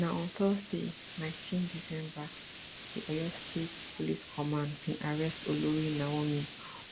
na on thursday nineteen december di oyo state police command bin arrest olori naomi